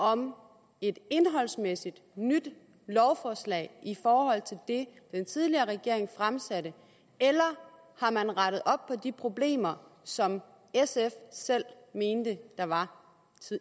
om et indholdsmæssigt nyt lovforslag i forhold til det den tidligere regering fremsatte eller har man rettet op på de problemer som sf selv mente der var